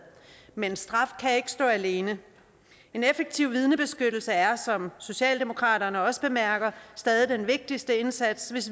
men straf kan ikke stå alene en effektiv vidnebeskyttelse er som socialdemokratiet også bemærker stadig den vigtigste indsats hvis